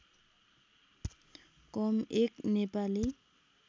कम एक नेपाली